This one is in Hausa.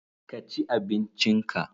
ka ci abincin ka!